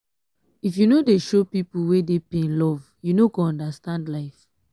if you no dey show pipu wey dey pain love you no go understand life.